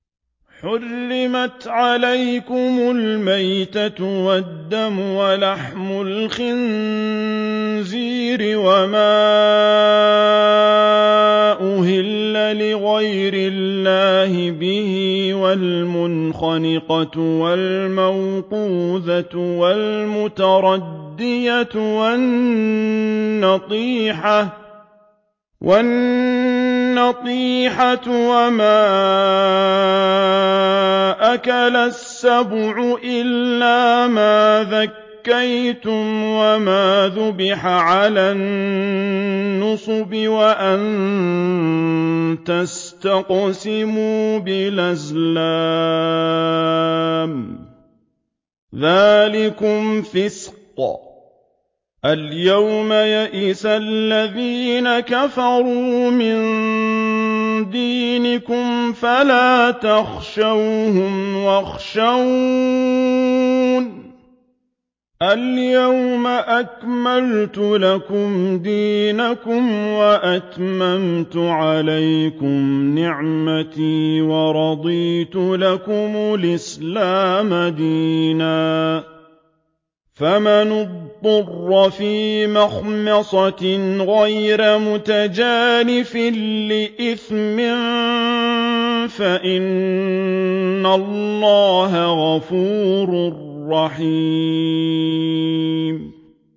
حُرِّمَتْ عَلَيْكُمُ الْمَيْتَةُ وَالدَّمُ وَلَحْمُ الْخِنزِيرِ وَمَا أُهِلَّ لِغَيْرِ اللَّهِ بِهِ وَالْمُنْخَنِقَةُ وَالْمَوْقُوذَةُ وَالْمُتَرَدِّيَةُ وَالنَّطِيحَةُ وَمَا أَكَلَ السَّبُعُ إِلَّا مَا ذَكَّيْتُمْ وَمَا ذُبِحَ عَلَى النُّصُبِ وَأَن تَسْتَقْسِمُوا بِالْأَزْلَامِ ۚ ذَٰلِكُمْ فِسْقٌ ۗ الْيَوْمَ يَئِسَ الَّذِينَ كَفَرُوا مِن دِينِكُمْ فَلَا تَخْشَوْهُمْ وَاخْشَوْنِ ۚ الْيَوْمَ أَكْمَلْتُ لَكُمْ دِينَكُمْ وَأَتْمَمْتُ عَلَيْكُمْ نِعْمَتِي وَرَضِيتُ لَكُمُ الْإِسْلَامَ دِينًا ۚ فَمَنِ اضْطُرَّ فِي مَخْمَصَةٍ غَيْرَ مُتَجَانِفٍ لِّإِثْمٍ ۙ فَإِنَّ اللَّهَ غَفُورٌ رَّحِيمٌ